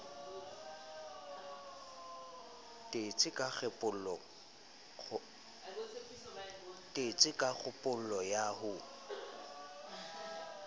tetse ka kgopolo ya ho